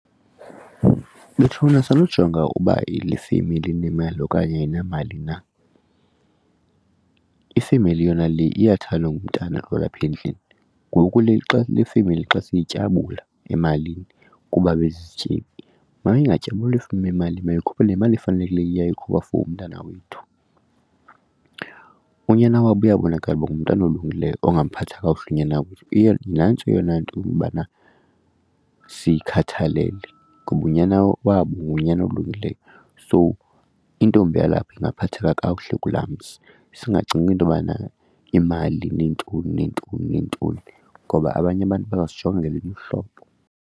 Bethuna, sanokujonga uba le femeli inemali okanye ayinamali na. Ifemeli yona le iyathandwa ngumntana olapha endlini ngoku le xa le femeli xa siyityabula emalini kuba bezizityebi. Mayingatyabulwa le femeli imali mayikhuphe le yimali efanelekileyo iyayikhupha for umntana wethu. Unyana wabo uyabonakala uba ngumntana olungileyo ongaphathanga kakuhle unyana wethu, iye nantso eyona nto yokobana siyikhathalele kuba unyana wabo ngunyana olungileyo so intombi yalapha ingaphatheka kakuhle kulaa mzi. Singacingi intobana imali neentoni neentoni ngoba abanye abantu bazosijonga ngelinye uhlobo.